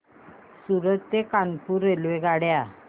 सूरत ते कानपुर रेल्वेगाड्या